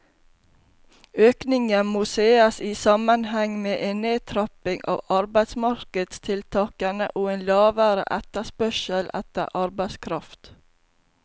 Økningen må ses i sammenheng med en nedtrapping av arbeidsmarkedstiltakene og en lavere etterspørsel etter arbeidskraft.